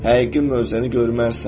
Həqiqi möcüzəni görmərsən.